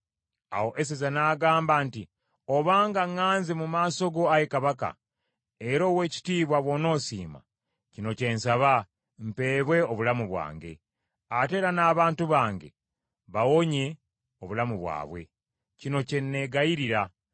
Awo Eseza n’addamu nti, “Obanga ŋŋanze mu maaso go, ayi Kabaka, era Oweekitiibwa bw’onoosiima, kino kye nsaba, mpeebwe obulamu bwange. Ate era n’abantu bange bawonye obulamu bwabwe. Kino kye nneegayirira.